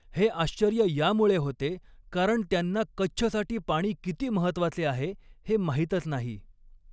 हे आश्चर्य यामुळे होते कारण त्यांना कच्छसाठी पाणी किती महत्त्वाचे आहे हे माहितच नाही.